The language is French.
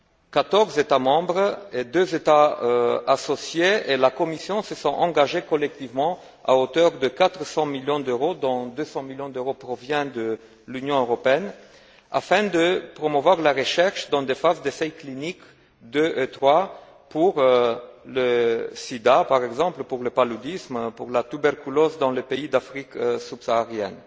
14 États membres, 2 États associés et la Commission se sont engagés collectivement à hauteur de 400 millions d'euros dont 200 millions d'euros proviennent de l'Union européenne afin de promouvoir la recherche dans des phases d'essais cliniques 2 et 3 pour le sida, par exemple, pour le paludisme, pour la tuberculose, dans les pays d'Afrique subsaharienne.